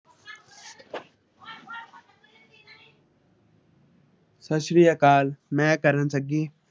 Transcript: ਸੱਸਰੀਆ ਕਾਲ ਮੈ ਆ ਕਰਨ ਸੰਗੀ।